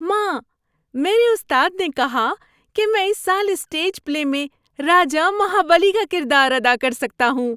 ماں، میرے استاد نے کہا کہ میں اس سال اسٹیج پلے میں راجا مہابلی کا کردار ادا کر سکتا ہوں۔